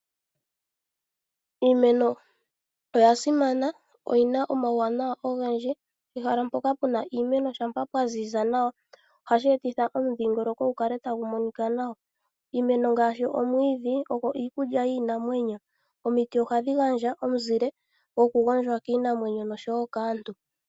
Iimeno oyasimana noyina omauwanawa ogendji. Pehala mpoka puna iimeno ngele pwaziza nawa, ohashi etitha omudhingoloko gukale tagu monika nawa . Iimeno ngaashi omwiidhi, ogo iikulya yiinamwenyo. Omiti ohadhi gandja omizile dhoku gondjwa kaantu oshowoo kiinamwenyo.